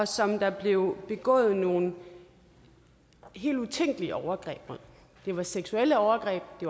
som der blev begået nogle helt utænkelige overgreb på det var seksuelle overgreb det